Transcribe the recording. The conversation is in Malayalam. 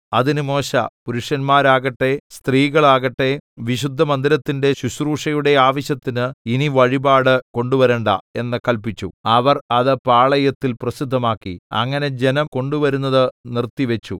അതിന് മോശെ പുരുഷന്മാരാകട്ടെ സ്ത്രീകളാകട്ടെ വിശുദ്ധമന്ദിരത്തിന്റെ ശുശ്രൂഷയുടെ ആവശ്യത്തിന് ഇനി വഴിപാട് കൊണ്ടുവരേണ്ട എന്ന് കല്പിച്ചു അവർ അത് പാളയത്തിൽ പ്രസിദ്ധമാക്കി അങ്ങനെ ജനം കൊണ്ടുവരുന്നത് നിർത്തിവച്ചു